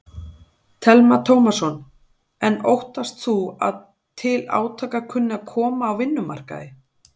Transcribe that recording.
Telma Tómasson: En óttast þú að til átaka kunni að koma á vinnumarkaði?